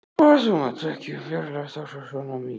Þú mátt ekki fjarlægjast okkur svona mikið.